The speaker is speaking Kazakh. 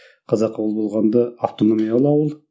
қазақы ауыл болғанда автономиялы ауыл